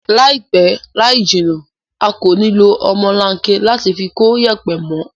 Láìpẹ́ láìjìnà a kò ní lo ọmọlanke láti fi kóyẹ̀pẹ̀ mó